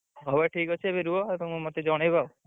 ହଉ ଭାଇ ଠିକ୍ ଅଛି ଏବେ ରୁହ ତମେ ମତେ ଜଣେଇବ ଆଉ।